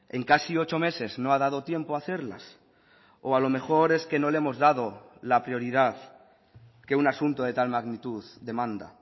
en casi ocho meses no ha dado tiempo a hacerlas o a lo mejor es que no le hemos dado la prioridad que un asunto de tal magnitud demanda